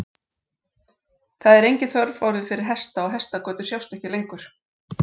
Það er engin þörf orðin fyrir hesta og hestagötur sjást ekki lengur.